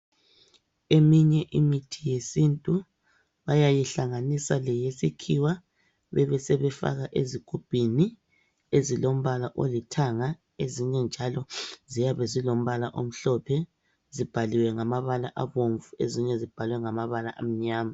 Eminye imithi yesintu bayayihlanganisa leyesikhiwa, bebesebefaka ezigubhini ezilombala olithanga, ezinye njalo ziyabe zilombala omhlophe, zibhaliwe ngamabala abomvu ezinye zibhaliwe ngamabala amnyama.